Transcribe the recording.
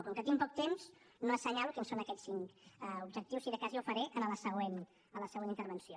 com que tinc poc temps no assenyalo quins són aquests cinc objectius si de cas ja ho faré en la següent intervenció